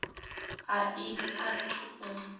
a i a thu u